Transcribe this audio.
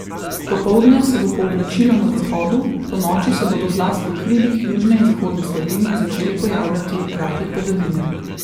Popoldne se bo pooblačilo na zahodu, ponoči se bodo zlasti v hribih južne in zahodne Slovenije začele pojavljati rahle padavine.